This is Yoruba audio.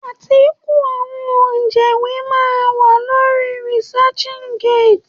Átíkù àwọn ọ̀jẹ̀wé máa wà lórí researchgate.